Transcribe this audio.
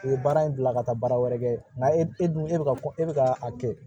U ye baara in bila ka taa baara wɛrɛ kɛ nka e dun e bɛ ka e bɛ ka a kɛ